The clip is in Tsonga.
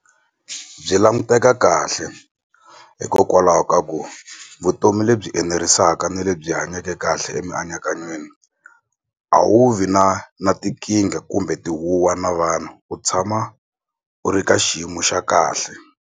Byi languteka kahle hikokwalaho ka ku vutomi lebyi enerisaka ni lebyi hanyake kahle emianakanyweni a wu vi na na tinkingha kumbe tihuwa na vanhu u tshama u ri ka xiyimo xa kahle.